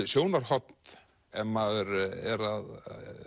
sjónarhorn ef maður er að